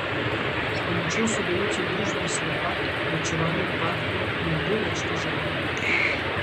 S pomočjo sodelavcev družbe Slopak ločevanje odpadkov ne bo več težavno.